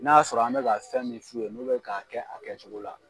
N'a y'a sɔrɔ an bɛ ka fɛn min f'u ye n'o bɛ k'a kɛ a kɛcogo la.